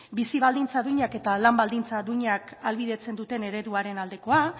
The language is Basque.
bizi baldintza duinak eta lan baldintza duinak ahalbidetzen duten ereduaren aldekoa